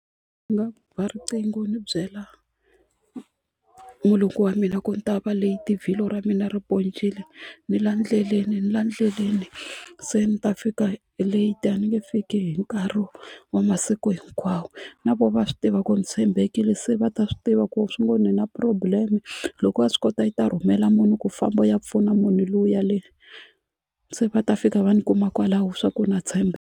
Ni nga ba riqingho ni byela mulungu wa mina ku ni ta va late vhilwa ra mina ri poncile ni la endleleni ni la endleleni se ni ta fika late a ni nge fiki hi nkarhi wa masiku hinkwawo na voho va swi tiva ku ri ntshembekile se va ta swi tiva ku swi ngo ni na problem loko va swi kota yi ta rhumela munhu ku famba ya pfuna munhu luya le se va ta fika va ni kuma kwalaho swa ku na .